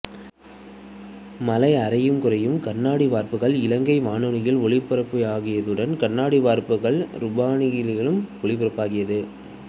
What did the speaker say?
மழை அரையும் குறையும் கண்ணாடி வார்ப்புகள் இலங்கை வானொலியில் ஒலிபரப்பாகியதுடன் கண்ணாடி வார்ப்புகள் ரூபவாகினியிலும் ஒளிபரப்பாகியது